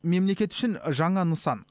мемлекет үшін жаңа нысан